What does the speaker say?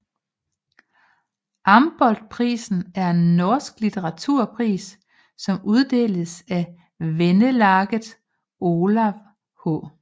Amboltprisen er en norsk litteraturpris som uddeles af Venelaget Olav H